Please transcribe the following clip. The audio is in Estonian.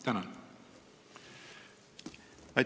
Tänan!